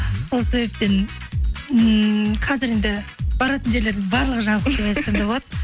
сол себептен ммм қазір енді баратын жерлердің барлығы жабық деп айтсам да болады